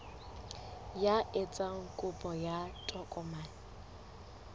ya etsang kopo ya tokomane